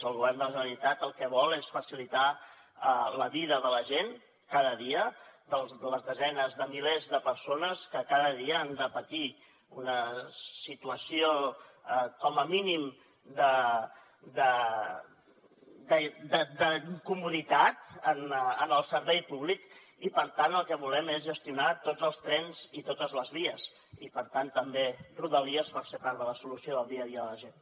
el govern de la generalitat el que vol és facilitar la vida de la gent cada dia de les desenes de milers de persones que cada dia han de patir una situació com a mínim d’incomoditat en el servei públic i per tant el que volem és gestionar tots els trens i totes les vies i per tant també rodalies per ser part de la solució del dia a dia de la gent